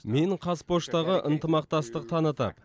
мен қазпоштаға ынтымақтастық танытып